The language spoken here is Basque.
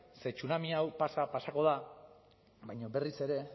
ze tsunami hau pasa pasako da baina berriz ere